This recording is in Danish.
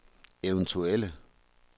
eventuelle